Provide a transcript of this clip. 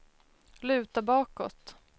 luta bakåt